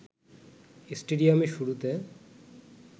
স্টেডিয়ামে শুরুতে